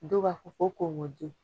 Dɔw b'a ko kogoji.